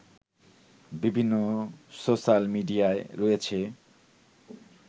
বিভিন্ন সোশাল মিডিয়ায় রয়েছে